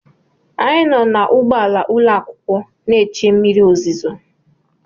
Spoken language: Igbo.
Anyị nọ n’ụgbọala ụlọakwụkwọ na-che mmiri ozuzo